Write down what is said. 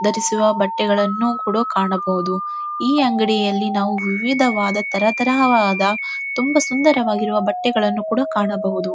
ಧರಿಸುವ ಬಟ್ಟೆಗಳನ್ನುಕೂಡ ಕಾಣಬಹುದು ಈ ಅಂಗಡಿಯಲ್ಲಿ ನಾವು ವಿವಿಧವಾದ ತರತರಹವಾದ ತುಂಬಾ ಸುಂದರವಾಗಿರುವ ಬಟ್ಟೆಗಳನ್ನು ಕೂಡ ಕಾಣಬಹುದು.